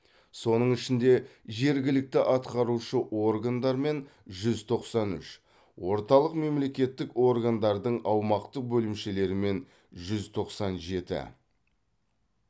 соның ішінде жергілікті атқарушы органдармен жүз тоқсан үш орталық мемлекеттік органдардың аумақтық бөлімшелерімен жүз тоқсан жеті